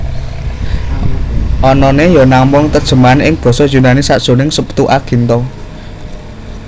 Anané ya namung terjemahan ing basa Yunani sajroning Septuaginta